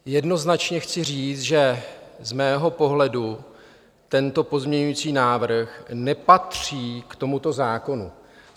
Jednoznačně chci říct, že z mého pohledu tento pozměňovací návrh nepatří k tomuto zákonu.